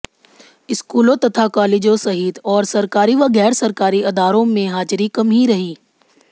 स्कूलों तथा कालेजों सहित और सरकारी व गैर सरकारी अदारों में हाजिरी कम ही रही